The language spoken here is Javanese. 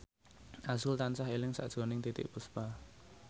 azrul tansah eling sakjroning Titiek Puspa